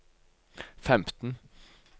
femten